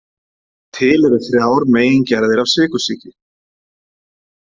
Til eru þrjár megingerðir af sykursýki.